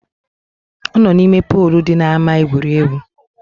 Ọ nọ n’ime polu di n’ama egwuregwu